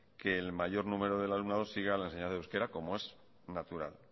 que el mayor número del alumnado siga la enseñanza del euskera como es natural